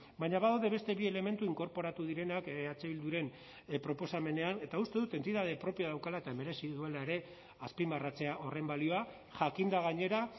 baina badaude beste bi elementu inkorporatu direnak eh bilduren proposamenean eta uste dut entitate propioa daukala eta merezi duela ere azpimarratzea horren balioa jakinda gainera